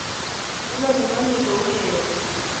Inoni ko ni kourereni